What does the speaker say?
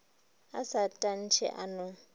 a sa tantshe a no